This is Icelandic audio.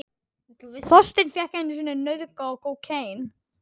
Maki: Enginn tími.